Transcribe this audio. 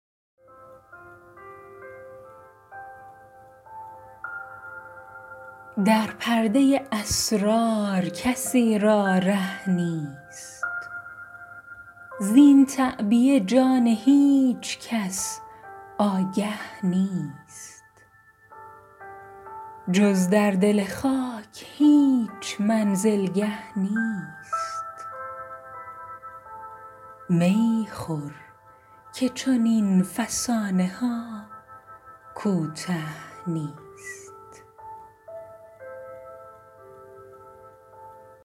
در پردۀ اسرار کسی را ره نیست زین تعبیه جان هیچ کس آگه نیست جز در دل خاک هیچ منزلگه نیست می خور که چنین فسانه ها کوته نیست